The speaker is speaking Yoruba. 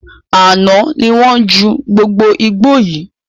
Àná ni wọn jù gbogbo igbó yii